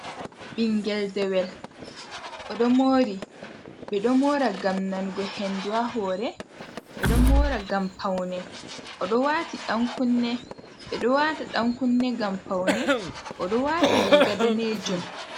Ɓingel dewel oɗo moori, ɓe ɗo moora ngam nanugo hendu ha hoore, ɓe ɗo moora ngam paune, oɗo waati ɗan kunne, ɓe ɗo waata ɗan kunne ngam paune, o ɗo waati riiga daneejun.